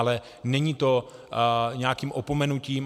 Ale není to nějakým opomenutím.